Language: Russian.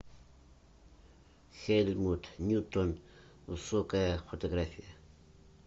хельмут ньютон высокая фотография